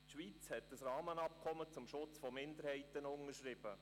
Die Schweiz hat ein Rahmenabkommen zum Schutz von Minderheiten unterschrieben.